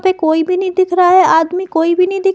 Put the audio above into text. पे कोई भी नहीं देख रहा है आदमी कोई भी नहीं दिख--